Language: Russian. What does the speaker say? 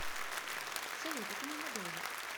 салют это ненадолго